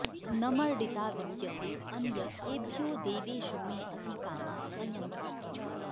न मर्डिता विद्यते अन्य एभ्यो देवेषु मे अधि कामा अयंसत